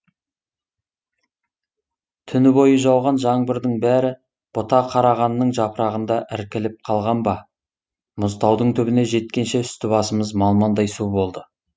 түні бойы жауған жаңбырдың бәрі бұта қарағанның жапырағында іркіліп қалған ба мұзтаудың түбіне жеткенше үсті басымыз малмандай су болды